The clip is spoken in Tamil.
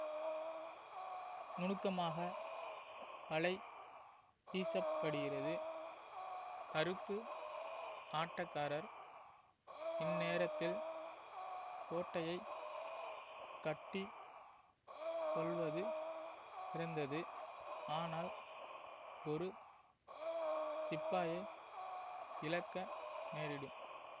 நுணுக்கமாக வலை வீசப்படுகிறது கருப்பு ஆட்டக்காரர் இந்நேரத்தில் கோட்டையை கட்டி கொள்வது சிறந்தது ஆனால் ஒரு சிப்பாயை இழக்க நேரிடும்